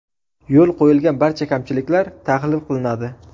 Yo‘l qo‘yilgan barcha kamchiliklar tahlil qilinadi.